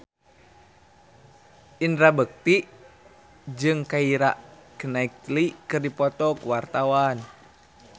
Indra Bekti jeung Keira Knightley keur dipoto ku wartawan